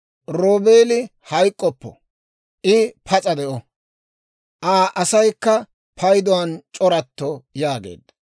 «Roobeeli hayk'k'oppo; I pas'a de'o. Aa asaykka payduwaan c'oratto» yaageedda.